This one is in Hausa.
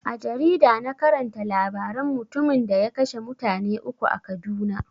A jarida na karanta labaran mutumin da ya kashe mutane uku a kaduna.